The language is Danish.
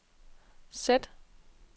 sæt